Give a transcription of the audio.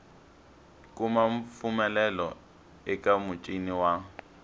kuma mpfumelelo eka muchini wa